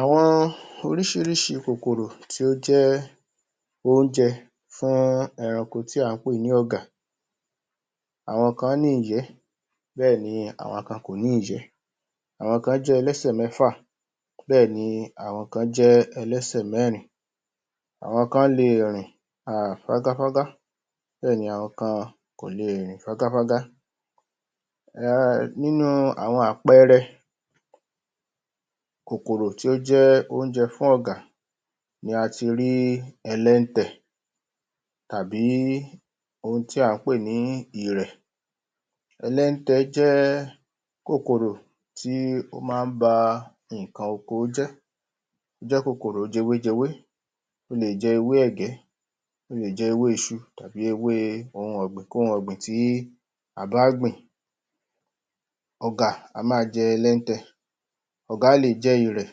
Àwọn oríṣiríṣi kòkòrò tí ó jẹ́ óúnjẹ fún eranko tí à ń pè ní ọ̀gà àwọn kan ní ìyẹ́ bẹ́ẹ̀ ni àwọn kan ò kòní ìyẹ́ àwọn kan jẹ́ ẹlẹ́sẹ̀ mẹ́fà bẹ́ẹ̀ ni àwọn kan jẹ́ ẹlẹ́sẹ̀ mẹ́rìn-in àwọn kan lè rìn um fágáfágá bẹ́ẹ̀ ni àwọn kan kò le rìn fágáfágá um nínú àwọn àpẹẹrẹ kòkòrò tí ó jẹ́ óúnjẹ fún ọ̀gà ni ati rí ẹlẹ́ntẹ̀ tàbí ohun tí à ń pè ní ìrẹ̀ ẹlẹ́ntẹ̀ jẹ́ kòkòrò tí ó má án ba ǹkan oko jẹ́ ó jẹ́ kòkòrò jewéjewé ó lè jẹ ewé ẹ̀gẹ́ ó lè jẹ ewé iṣu tàbí ewé ohun ọ̀gbìn kó ohun ọ̀gbìn tí a bá gbìn ọ̀gà á ma jẹ ẹlẹ́ntẹ̀ ọ̀gà lè jẹ ìrẹ̀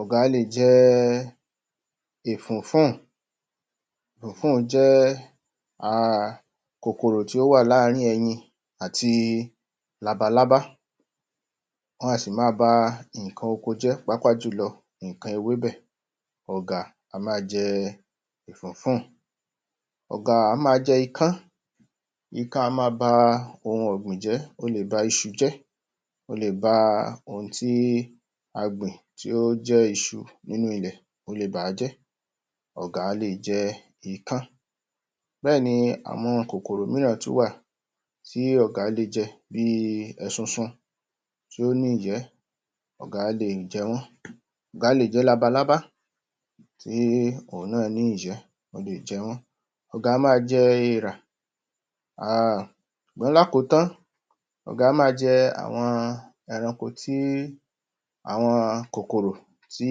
ọ̀gà lè jẹ ifùn-ún-fùn ifùn-ún-fùn jẹ́ um kòkòrò tó wà láàrín–ín ẹyin àti labalábá wọn a sì ma ba ǹkan oko jẹ́ pàápàá jùlọ ǹkan ewé bẹ́ẹ̀ ọ̀gà á ma jẹ ifùn-ún-fùn ọ̀gà á ma jẹ ikán ikán á ma ba ǹkan ọ̀gbìn jẹ́ ó lè ba iṣu jẹ́ ó lè ba ohun tí a gbìn tí ó jẹ́ iṣu nínú ilẹ̀ ó lè bà jẹ́ ọ̀gà lè jẹ ikán bẹ́ẹ̀ni àwọn kòkòrò mìíràn tí ó wà tí ọ̀gà lè jẹ bí ẹsusu tí ó ní ìyẹ́ ọ̀gà lè jẹ wọ́n ọ̀gà lè jẹ labalábá tí òhun náà ní ìyẹ́ ó lè jẹ wọ́n ọ̀gà á ma jẹ èrà um ṣùgbọ́n lákòtán-án ọ̀gà á ma jẹ àwọn ẹranko tí àwọn kòkòrò tí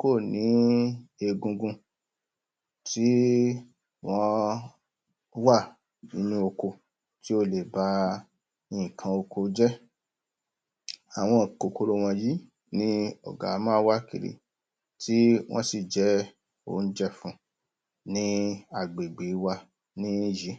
kò ní egungun tí wọ́n wà nínú oko tí o lè ba ǹkan oko jẹ́ àwọn kòkòrò wọnyìí ni ọ̀gà á ma wá kiri tí wọ́n sì jẹ́ óúnjẹ fún ní agbègbè wa ní yìí